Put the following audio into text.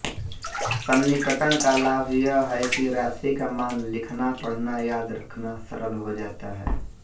सन्निकटन का लाभ यह है कि राशि का मान लिखनापढ़नायाद रखना सरल हो जाता है